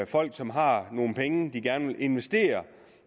folk som har nogle penge de gerne vil investere